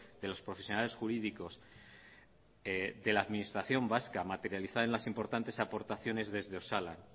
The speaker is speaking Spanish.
de los profesionales jurídicos de la administración vasca materializada en las importantes aportaciones desde osalan